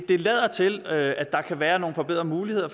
det lader til at der kan være nogle forbedrede muligheder